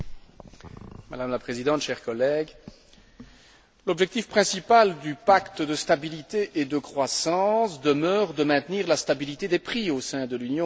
Madame la Présidente, chers collègues, l'objectif principal du pacte de stabilité et de croissance demeure de maintenir la stabilité des prix au sein de l'Union européenne.